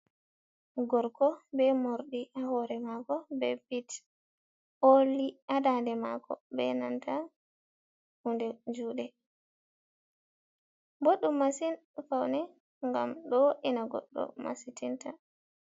Gorko be morɗi ha hore mako be bit oli ha ndade mako, be nanta hunde jude, boɗɗum masin ha faune ngam ɗo wo'ina goɗɗo masitinta.